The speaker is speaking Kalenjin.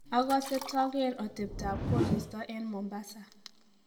ogose toget otebetab koristo en mombaza